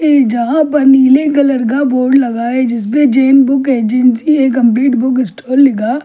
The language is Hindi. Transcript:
यहां पर नीले कलर का बोर्ड लगा है जिसपे Jain book agency a complete book store लिखा ए --